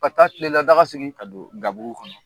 Ka taa kilela daga sigi. Ka don gabugu kɔnɔ.